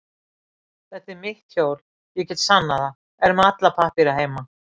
Þetta er mitt hjól, ég get sannað það, er með alla pappíra heima.